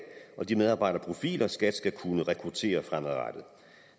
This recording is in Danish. og de medarbejderprofiler som skat skal kunne rekruttere fremadrettet